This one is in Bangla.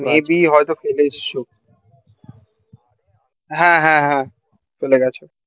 এদিকে হয়তো চলে এসেছে হ্যাঁ হ্যাঁ হ্যাঁ চলে গেছে